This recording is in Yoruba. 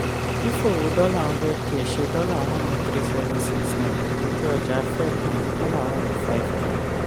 fífowó dollar hundred k ṣe dollar one zero three seven six nine ojú-ọjà fẹ um one zero five k.